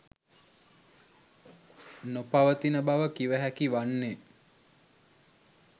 නොපවතින බව කිව හැකි වන්නේ.